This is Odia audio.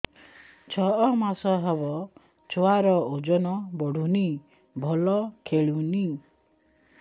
ଛଅ ମାସ ହବ ଛୁଆର ଓଜନ ବଢୁନି ଭଲ ଖେଳୁନି